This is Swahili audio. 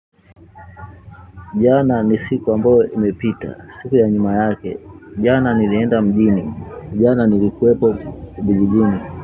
Jana ni siku ambao imepita, siku ya nyuma yake. Jana nilienda mjini, jana nilikuwepo kijijini.